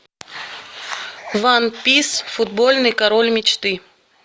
ван пис футбольный король мечты